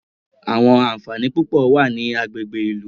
Àwọn ànfàní púpọ̀ wà ní àwọn agbègbè ìlú.